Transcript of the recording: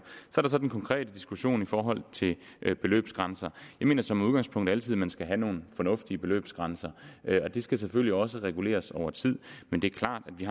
så den konkrete diskussion i forhold til beløbsgrænser jeg mener som udgangspunkt altid at man skal have nogle fornuftige beløbsgrænser og de skal selvfølgelig også reguleres over tid men det er klart at vi